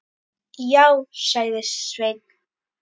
Já, sagði Sveinn.